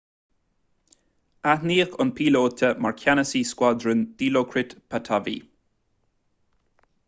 aithníodh an píolóta mar cheannasaí scuadrúin dilokrit pattavee